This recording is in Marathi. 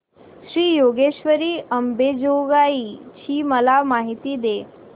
श्री योगेश्वरी अंबेजोगाई ची मला माहिती दे